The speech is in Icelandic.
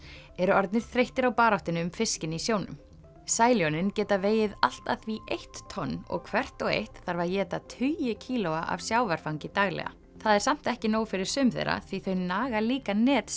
eru orðnir þreyttir á baráttunni um fiskinn í sjónum sæljónin geta vegið allt að því eitt tonn og hvert og eitt þarf að éta tugi kílóa af sjávarfangi daglega það er samt ekki nóg fyrir sum þeirra því þau naga líka net